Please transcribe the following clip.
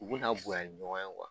U bɛ ka bonya ni ɲɔgɔn ye wa?